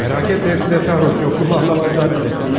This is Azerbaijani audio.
Məraq etmə, hamısı da sərxoş, yoxluğumu anlamazlar belə.